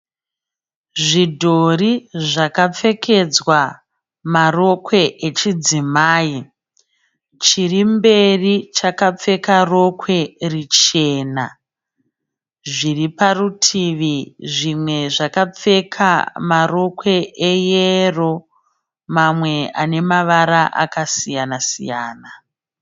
Zvidhori zvakapfekedzwa marokwe echidzimai. Chirimberi chakapfeka rokwe richena, zviriparutivi zvimwe zvakapfeka marokwe eyero mamwe anemavara akasiyana-siyana.